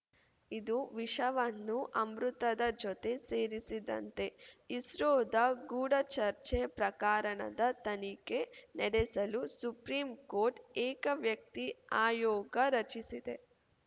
ಇದು ವಿಷವನ್ನು ಅಮೃತದ ಜೊತೆ ಸೇರಿಸಿದಂತೆ ಇಸ್ರೋದ ಗೂಢಚರ್ಚೆ ಪ್ರಕಾರಣದ ತನಿಖೆ ನಡೆಸಲು ಸುಪ್ರೀಂಕೋರ್ಟ್‌ ಏಕವ್ಯಕ್ತಿ ಆಯೋಗ ರಚಿಸಿದೆ